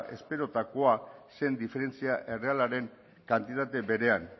esperotakoa zen diferentzia errealaren kantitate berean